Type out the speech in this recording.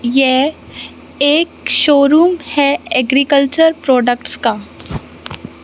ये एक शोरूम है एग्रीकल्चर प्रोडक्ट्स का--